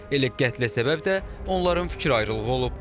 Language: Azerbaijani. Elə qətlə səbəb də onların fikir ayrılığı olub.